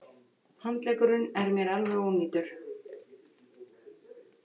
Handleggurinn er mér alveg ónýtur.